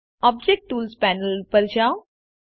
object tools panel ઉપર જાઓ